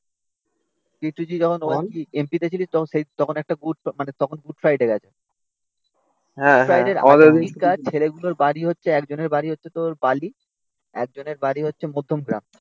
যখন MP তে ছিলিস তখন সেই তখন একটা গুড মানে তখন গুড ফ্রাইডে এ গেছে ছেলেগুলোর বাড়ি হচ্ছে একজনের বাড়ি হচ্ছে তোর বালি একজনের বাড়ি হচ্ছে মধ্যমগ্রাম.